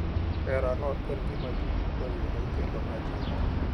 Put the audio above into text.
Herano en gima ji duto yudo kendo ma jiwo.